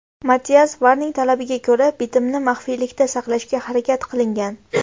Mattias Varnig talabiga ko‘ra, bitmni maxfiylikda saqlashga harakat qilingan.